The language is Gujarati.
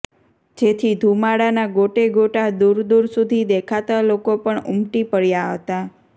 જેથી ધુમાડાના ગોટે ગોટા દૂર દૂર સુધી દેખાતા લોકો પણ ઉમટી પડ્યા હતા